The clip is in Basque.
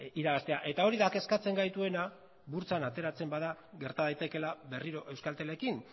irabaztea eta hori da kezkatzen gaituena burtsan ateratzen bada gerta daitekeela berriro euskaltelekin